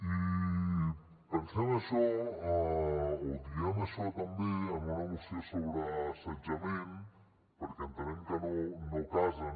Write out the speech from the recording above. i pensem això o diem això també en una moció sobre assetjament perquè entenem que no casen